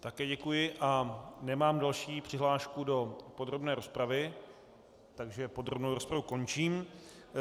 Také děkuji a nemám další přihlášku do podrobné rozpravy, takže podrobnou rozpravu končím.